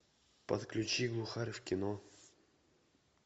подключи глухарь в кино